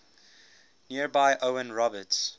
nearby owen roberts